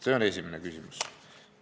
See on esimene küsimus.